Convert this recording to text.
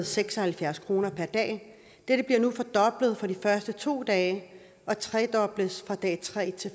seks og halvfjerds kroner per dag og dette bliver nu fordoblet for de første to dage og tredobles fra dag tre til